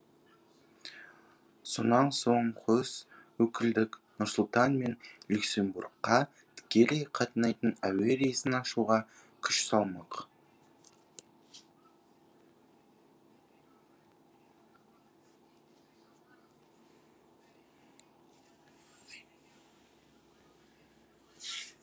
сонан соң қос өкілдік нұр сұлтан мен люксембургқа тікелей қатынайтын әуе рейсін ашуға күш салмақ